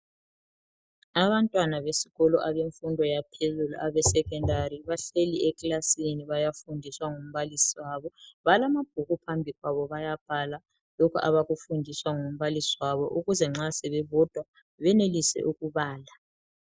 Abantwana besikolo abemfundo yaphezulu eSecondary bahleli ekilasini bayafundiswa ngumbalisi wabo. Balamabhuku phambi kwabo bayabhala lokho abakufundiswa ngumbalisi wabo ukuze nxa sebebodwa benelise ukubala.